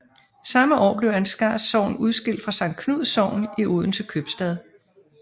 Samme år blev Ansgars Sogn udskilt fra Sankt Knuds Sogn i Odense Købstad